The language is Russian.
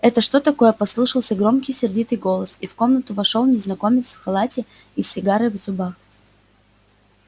это что такое послышался громкий сердитый голос и в комнату вошёл незнакомец в халате и с сигарой в зубах